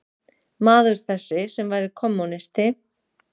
Maður þessi, sem væri kommúnisti